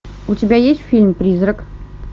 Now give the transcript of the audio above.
у тебя есть фильм призрак